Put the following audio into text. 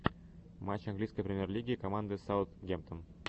матч английской премьер лиги команды саунд гемп тон